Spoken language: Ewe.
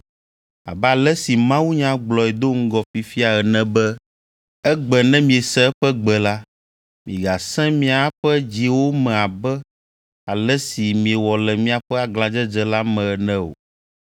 Abe ale si mawunya gblɔe do ŋgɔ fifia ene be, “Egbe ne miese eƒe gbe la, migasẽ miaƒe dziwo me abe ale si miewɔ le miaƒe aglãdzedze la me ene o.”